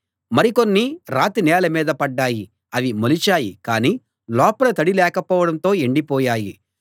మరి కొన్ని రాతి నేల మీద పడ్డాయి అవి మొలిచాయి కానీ లోపల తడి లేకపోవడంతో ఎండిపోయాయి